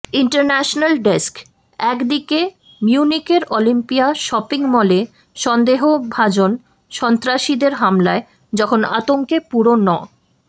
international desk একদিকে মিউনিখের Olympia shopping মলে সন্দেহভাজন সন্ত্রাসীদের হামলায় যখন আতঙ্কে পুরো ন